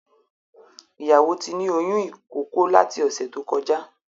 Ìyàwó tí ní oyún ìkókó lati ọ̀sẹ̀ tó kọjá